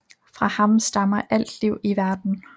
Fra ham stammer alt liv i verden